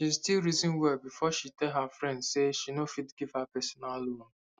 she still reason well before she tell her friend say she no fit give her personal loan